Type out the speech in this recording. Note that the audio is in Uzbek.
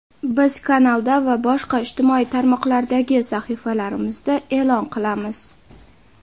Biz kanalda va boshqa ijtimoiy tarmoqlardagi sahifalarimizda eʼlon qilamiz.